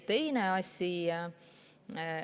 Teine asi.